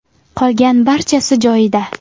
Qolgan barchasi joyida.